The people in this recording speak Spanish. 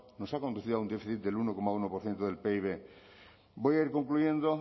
nos ha conducido a un déficit del uno coma uno por ciento del pib voy a ir concluyendo